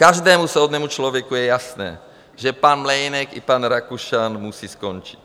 Každému soudnému člověku je jasné, že pan Mlejnek i pan Rakušan musí skončit.